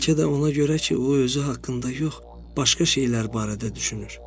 Bəlkə də ona görə ki, o özü haqqında yox, başqa şeylər barədə düşünür.